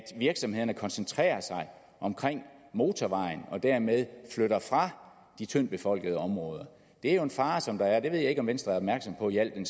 virksomhederne koncentrerer sig omkring motorvejen og dermed flytter fra de tyndtbefolkede områder det er jo en fare som der er det ved jeg ikke om venstre er opmærksom på i al den